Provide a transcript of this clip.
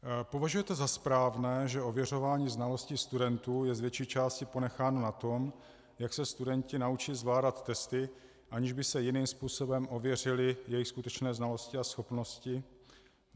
Považujete za správné, že ověřování znalostí studentů je z větší části ponecháno na tom, jak se studenti naučí zvládat testy, aniž by se jiným způsobem ověřily jejich skutečné znalosti a schopnosti?